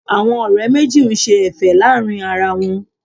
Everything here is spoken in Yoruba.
Àwọn ọ̀rẹ́ méjì ń ṣe Ẹ̀fẹ̀ láàrin ara wọn